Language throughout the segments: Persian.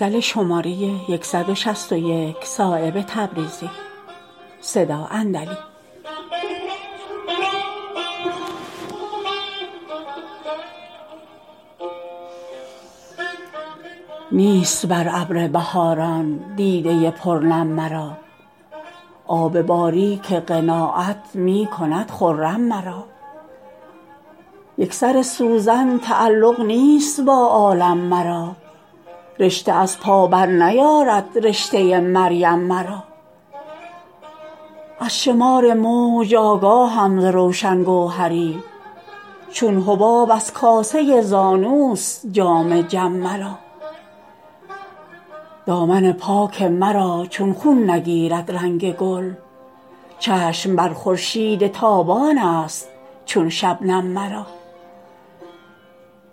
نیست بر ابر بهاران دیده پر نم مرا آب باریک قناعت می کند خرم مرا یک سر سوزن تعلق نیست با عالم مرا رشته از پا برنیارد رشته مریم مرا از شمار موج آگاهم ز روشن گوهری چون حباب از کاسه زانوست جام جم مرا دامن پاک مرا چون خون نگیرد رنگ گل چشم بر خورشید تابان است چون شبنم مرا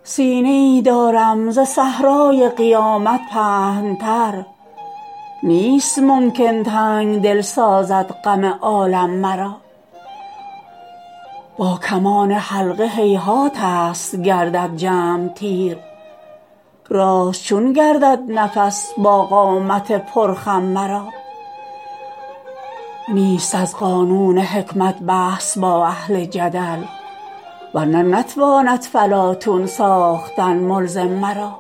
سینه ای دارم ز صحرای قیامت پهن تر نیست ممکن تنگدل سازد غم عالم مرا با کمان حلقه هیهات است گردد جمع تیر راست چون گردد نفس با قامت پر خم مرا نیست از قانون حکمت بحث با اهل جدل ورنه نتواند فلاطون ساختن ملزم مرا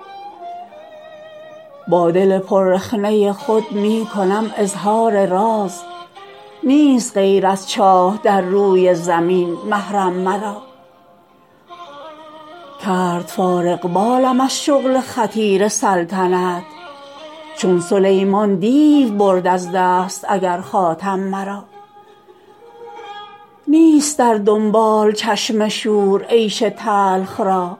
با دل پر رخنه خود می کنم اظهار راز نیست غیر از چاه در روی زمین محرم مرا کرد فارغبالم از شغل خطیر سلطنت چون سلیمان دیو برد از دست اگر خاتم مرا نیست در دنبال چشم شور عیش تلخ را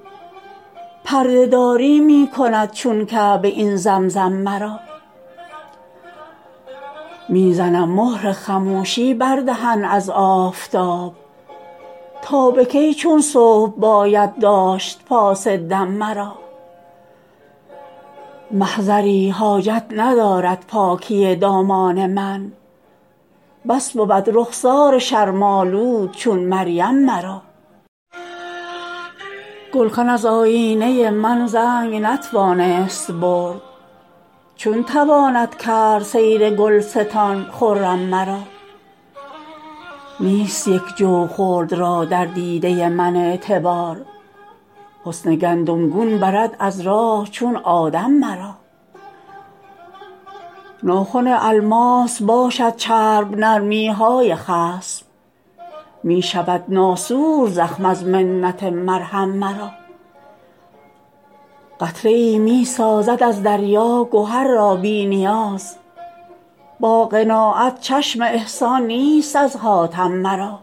پرده داری می کند چون کعبه این زمزم مرا می زنم مهر خموشی بر دهن از آفتاب تا به کی چون صبح باید داشت پاس دم مرا محضری حاجت ندارد پاکی دامان من بس بود رخسار شرم آلود چون مریم مرا گلخن از آیینه من زنگ نتوانست برد چون تواند کرد سیر گلستان خرم مرا نیست یک جو خلد را در دیده من اعتبار حسن گندم گون برد از راه چون آدم مرا ناخن الماس باشد چرب نرمی های خصم می شود ناسور زخم از منت مرهم مرا قطره ای می سازد از دریا گهر را بی نیاز با قناعت چشم احسان نیست از حاتم مرا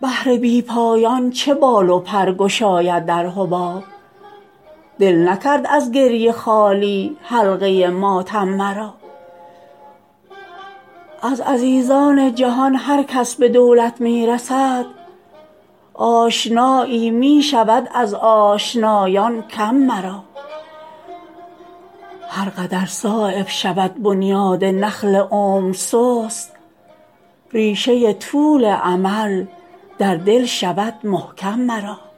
بحر بی پایان چه بال و پر گشاید در حباب دل نکرد از گریه خالی حلقه ماتم مرا از عزیزان جهان هر کس به دولت می رسد آشنایی می شود از آشنایان کم مرا هر قدر صایب شود بنیاد نخل عمر سست ریشه طول امل در دل شود محکم مرا